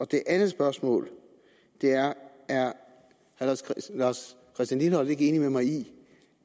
det andet spørgsmål er er herre lars christian lilleholt ikke enig med mig i